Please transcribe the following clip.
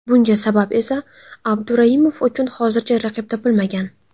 Bunga sabab esa Abduraimov uchun hozircha raqib topilmagan.